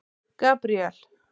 Gabríel